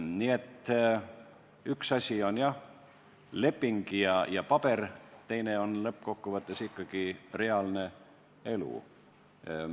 Nii et üks asi on leping ja paber, teine on lõppkokkuvõttes ikkagi reaalne elu.